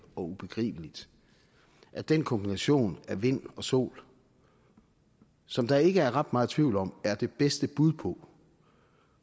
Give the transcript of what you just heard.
og ubegribeligt at den kombination af vind og sol som der ikke er ret meget tvivl om er det bedste bud på